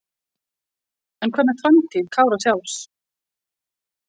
En hvað með framtíð Kára sjálfs?